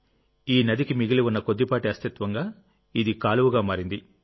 ఈ నదికి మిగిలి ఉన్న కొద్దిపాటి అస్తిత్వంగా ఇది కాలువగా మారింది